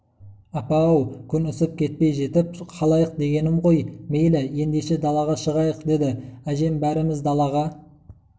апа-ау күн ысып кетпей жетіп қалайық дегенім ғой мейлі ендеше далаға шығайық деді әжем бәріміз далаға